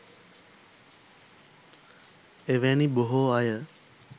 එවැනි බොහෝ අය